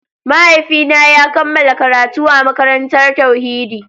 Mahaifina ya kammala karatu a makarantar tauhidi.